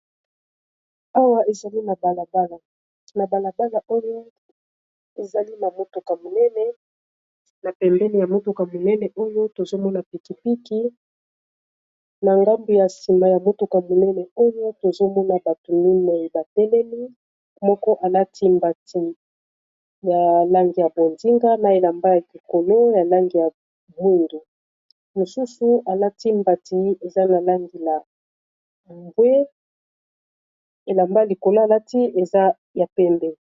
awa ezali na balabalana balabala oyo ezali na motuka monene na pembene ya motuka monene oyo tozomona pikipiki na ngambu ya sima ya motuka monene oyo tozomona bato minei bateleli moko alati mbati ya langi ya bodinga na elamba ya likolo ya langi ya mundu mosusu alati mbati eza na langi ya bwe elamba likolo alati eza ya pembe.